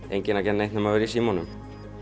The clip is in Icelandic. enginn að gera neitt nema vera í símanum